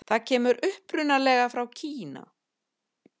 Það kemur upprunalega frá Kína.